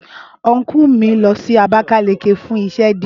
Ọnkú mi lọ sí abakaliki fún iṣẹ́ díè